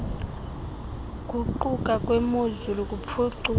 guquka kwemozulu kuphuculwe